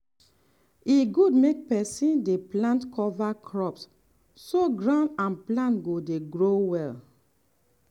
e good make person dey plant cover crops so ground and plant go dey grow well.